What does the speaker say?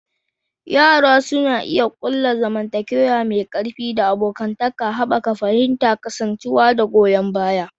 Yara suna iya ƙulla zumunci mai ƙarfi da abokantaka, haɓaka fahimtar kasancewa da goyon baya.